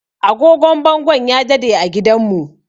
Agogon bangon ya dade a gidanmu